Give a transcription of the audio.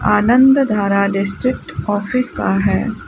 आनंद Dhara district office का है।